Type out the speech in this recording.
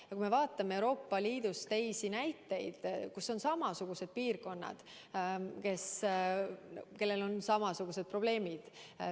Vaatame näiteid Euroopa Liidust, kus on samasugused piirkonnad, kus on samasugused probleemid.